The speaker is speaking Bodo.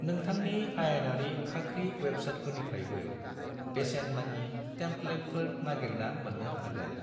नोंथांनि आयेनारि खाख्रि वेबसाइटफोरनिफ्रायबो बेसेन-नाङि टेम्पलेटफोर नागिरना मोननो हागोन।